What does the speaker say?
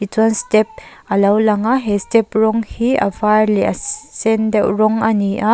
chuan step alo lang a he step rawng hi a var leh a sen deuh rawng ani a.